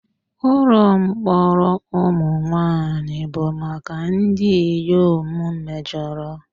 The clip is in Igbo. Ụlọ mkpọrọ ụmụ nwanyị bụ maka ndị inyom mejọrọ.